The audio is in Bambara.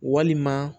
Walima